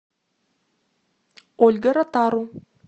ольга ротару